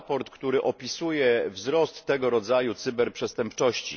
Raport, który opisuje wzrost tego rodzaju cyberprzestępczości.